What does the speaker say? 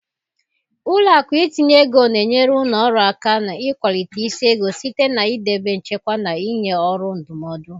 Ụlọ akụ itinye ego na-enyere ụlọ ọrụ aka n'ịkwalite isi ego site na idebe nchekwa na ịnye ọrụ ndụmọdụ.